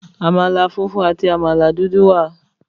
Àmàlà funfun àti àmàlà dúdú wà.